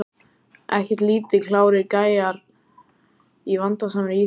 Ekkert lítið klárir gæjar í vandasamri íþrótt!